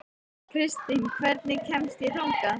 Kristin, hvernig kemst ég þangað?